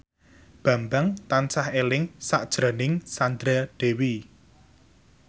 Bambang tansah eling sakjroning Sandra Dewi